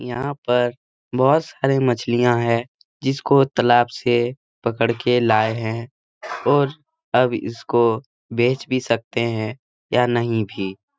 यहाँ पर बहोत सारी मछलिआँ हैं जिसको तलाब से पकड़ के लाए हैं और अब इसको बेच भी सकते हैं या नहीं भी ।